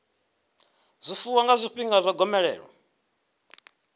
zwifuwo nga zwifhinga zwa gomelelo